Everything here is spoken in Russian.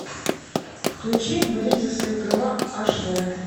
включи борись за свои права аш дэ